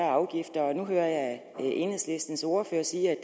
og afgifter og nu hører jeg enhedslistens ordfører sige at